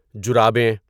جرابین